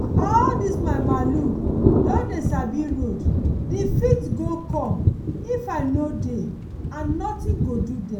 all dis my malu don dey sabi road the fit go come if i no dey and nothing go do dem.